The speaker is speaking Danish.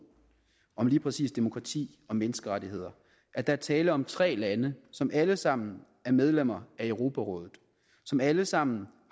om lige præcis demokrati og menneskerettigheder at der er tale om tre lande som alle sammen er medlemmer af europarådet som alle sammen